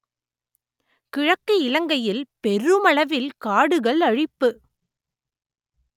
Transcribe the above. கிழக்கு இலங்கையில் பெருமளவில் காடுகள் அழிப்பு